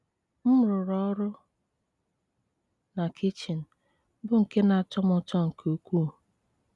M rụrụ ọrụ na kichin, bụ́ nke na-atọ m ụtọ nke ukwuu.